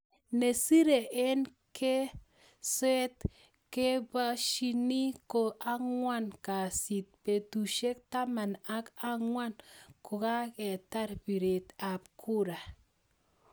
Ne sire eng kweeset keapshani ko angwan kasit, betushek taman ak angwan kokaketar piret ap kura.